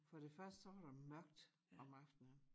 For det første så var der mørkt om aftenen